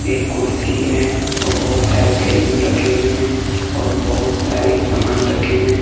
एक कुर्सी है और बहुत सारे बैलून रखे हुए हैं और बहुत सारे सामान रखे हुए हैं।